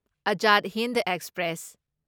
Azad Hind express